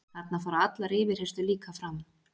Þarna fara allar yfirheyrslur líka fram